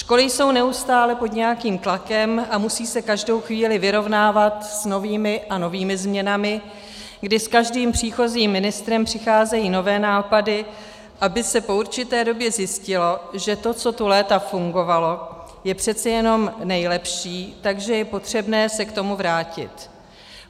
Školy jsou neustále pod nějakým tlakem a musí se každou chvíli vyrovnávat s novými a novými změnami, kdy s každým příchozím ministrem přicházejí nové nápady, aby se po určité době zjistilo, že to, co tu léta fungovalo, je přece jenom nejlepší, takže je potřebné se k tomu vrátit.